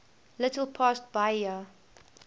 little past bahia